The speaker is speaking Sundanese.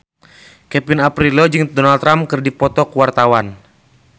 Kevin Aprilio jeung Donald Trump keur dipoto ku wartawan